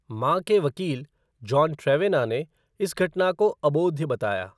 माँ के वकील, जॉन ट्रेवेना ने इस घटना को "अबोध्य" बताया।